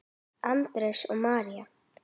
Andrés og María.